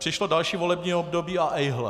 Přišlo další volební období - a ejhle.